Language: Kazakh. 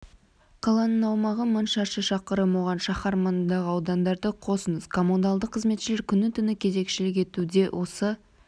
қаланың аумағы мың шаршы шақырым оған шаһар маңындағы аудандарды қосыңыз коммуналдық қызметшілер күні-түні кезекшілік етуде осы